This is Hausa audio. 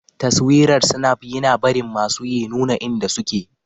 Taswirar Snap yina barin masuyi nuna inda suke.